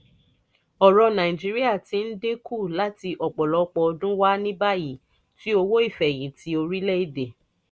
ọ̀rọ̀ nàìjíríà ti ń dín kù láti ọ̀pọ̀lọpọ̀ ọdún wá ní báyìí tí owó ìfẹ̀yìntì orílẹ̀-èdè